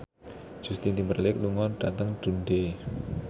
Justin Timberlake lunga dhateng Dundee